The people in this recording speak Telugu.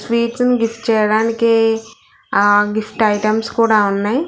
స్వీట్స్ ని గిఫ్ట్ చేయడానికి ఆ గిఫ్ట్ ఐటమ్స్ కూడా ఉన్నయ్.